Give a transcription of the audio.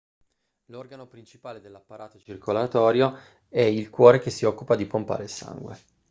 l'organo principale dell'apparato circolatorio è il cuore che si occupa di pompare il sangue